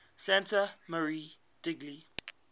santa maria degli